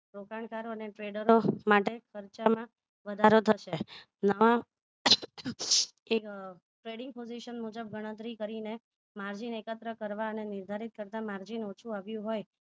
રોકાણકારો અને trader માટે ખર્ચોમાં વધારો થશે નામ એ tradition positon મુજબ ગણતરી કરીને margin એકત્ર કરવા અને એકમ નિર્ધારિત કરતા margin ઓછુ આવ્યું હોય